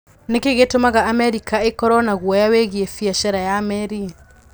Nĩ kĩĩ gĩtũmaga Amerika ĩkorũo na guoya wĩgiĩ biacara ya meri?